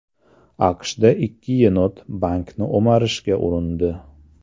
AQShda ikki yenot bankni o‘marishga urindi.